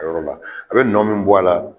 A yɔrɔ la a be nɔ min bɔ a la